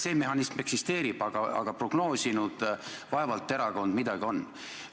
See mehhanism eksisteerib, aga prognoosinud meie erakond vaevalt midagi on.